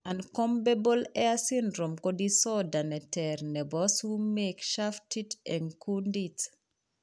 Uncombable hair syndrome ko disorder neter nebo sumeek shaftit eng' kundit